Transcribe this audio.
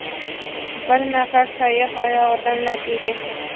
Bir nafar sayyoh oyog‘idan lat yegan.